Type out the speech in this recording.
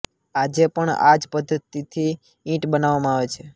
આજે પણ આ જ પદ્ધતિથી ઈંટ બનાવવામાં આવે છે